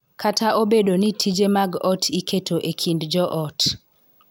Kata obedo ni tije mag ot iketo e kind jo ot.